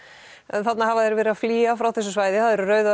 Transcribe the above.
þarna hafa þeir verið að flýja frá þessu svæði það eru rauðu